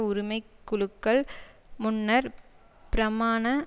உரிமை குழுக்கள் முன்னர் பிரமாண